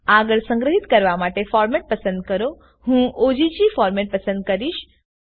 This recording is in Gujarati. આગળ સંગ્રહિત કરવા માટે ફોરમેટ પસંદ કરોહું ઓગ ફોરમેટ પસંદ કરીશ